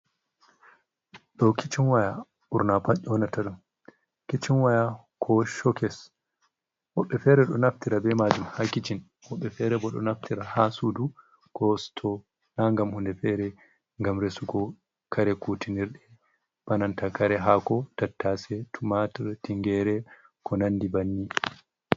Ɗo kicin waya ɓurna pat einata ɗum kicin waya ko shokes woɓɓe fere ɗo naftira be majum ha kicin woɓɓe fere bo ɗo naftira ha sudu ko sito, na gam hunde fere gam resugo kare kutinirɗum bananta kare hako tattase tumatur tingere ko nandi banni.